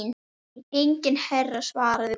Nei enginn herra svaraði konan.